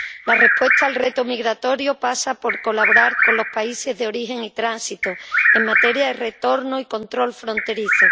La respuesta al reto migratorio pasa por colaborar con los países de origen y tránsito en materia de retorno y control fronterizo.